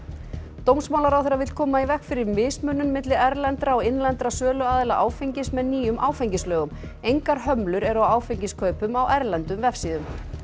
dómsmálaráðherra vill koma í veg fyrir mismunun milli erlendra og innlendra söluaðila áfengis með nýjum áfengislögum engar hömlur eru á áfengiskaupum á erlendum vefsíðum